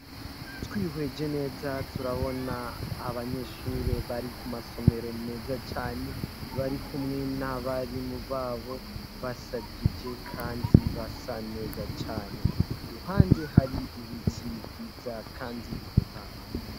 Twihweje neza turabona abanyeshuri bari ku masomero meza cane. Bari kumwe n'abarimu b'abo, bashajiije kandi basa neza cane. Iruhande hari ibiti, vyiza kandi bitotaye.